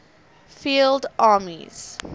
field armies